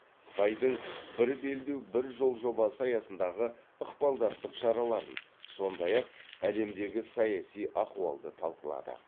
қытайдың бір белдеу бір жол жобасы аясындағы ықпалдастық шараларын сондай ақ әлемдегі саяси ахуалды талқылады